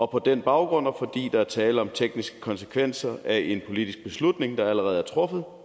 på den baggrund og fordi der er tale om tekniske konsekvenser af en politisk beslutning der allerede er truffet